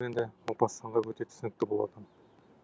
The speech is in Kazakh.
енді мопассанға өте түсінікті болатын